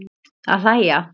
Að hlæja.